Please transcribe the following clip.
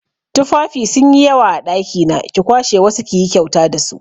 Tufafi sun yi yawa a ɗakina, ki kwashe wasu kiyi kyauta dasu